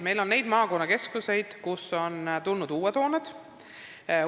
Meil on maakonnakeskusi, kus on riigigümnaasiumile ehitatud uus hoone.